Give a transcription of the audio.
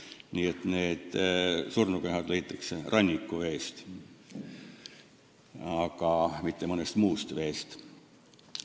Nii et need surnukehad leitakse rannikuveest, mitte mõnest muust veest.